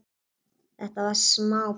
Þetta var smá peð!